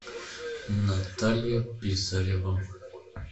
наталья писарева